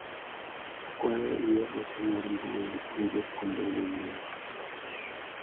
Akwayo ior ote mar mbui ne jopuonjre manyien.